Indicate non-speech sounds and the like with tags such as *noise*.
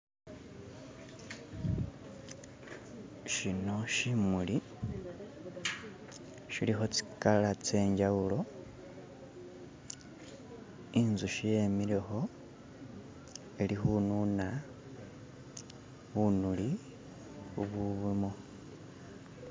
*skip* shino shimuli *skip* shiliho tsikala tsenjawulo *skip* inzuhi yemileho *skip* ilihununa *skip* bunuli bubulimo